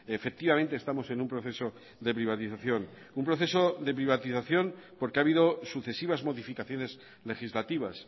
efectivamente estamos en un proceso de privatización un proceso de privatización porque ha habido sucesivas modificaciones legislativas